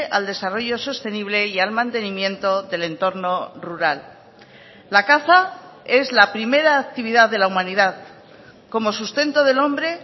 al desarrollo sostenible y al mantenimiento del entorno rural la caza es la primera actividad de la humanidad como sustento del hombre